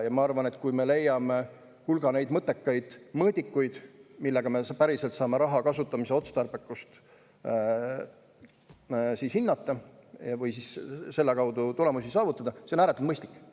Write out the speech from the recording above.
Ma arvan, et kui me leiame hulga mõttekaid mõõdikuid, millega me päriselt saame raha kasutamise otstarbekust hinnata või selle kaudu tulemusi saavutada, siis on see ääretult mõistlik.